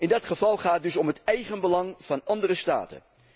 In dat geval gaat het dus om het eigenbelang van andere staten.